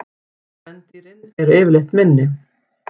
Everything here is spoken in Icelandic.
Kvendýrin eru yfirleitt minni.